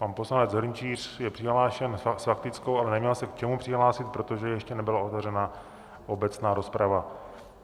Pan poslanec Hrnčíř je přihlášen s faktickou, ale neměl se k čemu přihlásit, protože ještě nebyla otevřena obecná rozprava.